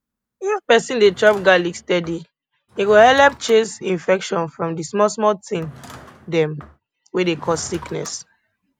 if person dey chop garlic steady e go helep chase infection from di small small thing dem wey dey cause sickness